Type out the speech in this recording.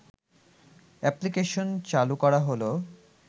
application চালু করা হল